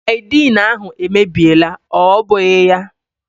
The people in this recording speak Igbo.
Saidin ahụ èmèbịèlà, ọ bụghị ya?